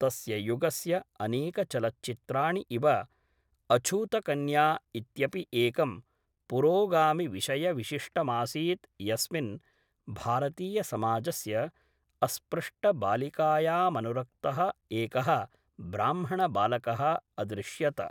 तस्य युगस्य अनेकचलच्चित्राणि इव अछूतकन्या इत्यपि एकं पुरोगामिविषयविशिष्टमासीत् यस्मिन् भारतीयसमाजस्य अस्पृष्टबालिकायामनुरक्तः एकः ब्राह्मणबालकः अदृश्यत।